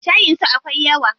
Shayin su akwai yawa?